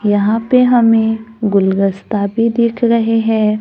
यहां पे हमें गुलदस्ता भी दिख रहे हैं।